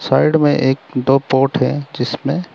side में एक दो पॉट है जिसमें--